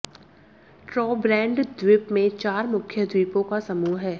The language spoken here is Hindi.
ट्रोब्रेंड द्विप में चार मुख्य द्विपो का समूह है